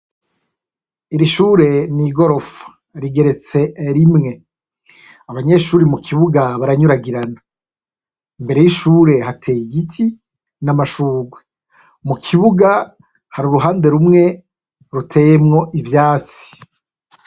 Iri shure n'igorofa rigeretse rimwe, abanyeshuri mu kibuga baranyuragirana, imbere y'ishure hateye igiti n'amashurwe, mu kibuga hari uruhande rumwe ruteyemwo ivyatsi.